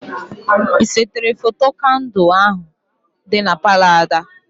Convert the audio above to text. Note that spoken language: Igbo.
Ị sere foto kandụ ahụ dị na Palọ Ada?